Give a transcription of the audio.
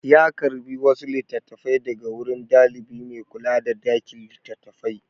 Ya karɓi wasu littattafai daga wurin ɗalibi mai kula da ɗakin littattafai.